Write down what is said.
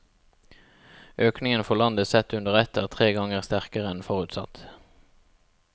Økningen for landet sett under ett er tre ganger sterkere enn forutsatt.